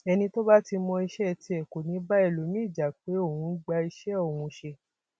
ẹni tó bá ti mọ iṣẹ tiẹ kọ ni ì bá ẹlòmíín jà pé ó ń gba iṣẹ òun ṣe